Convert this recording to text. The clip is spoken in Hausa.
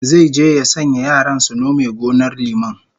Zai je ya sanya yaran su nome gonar liman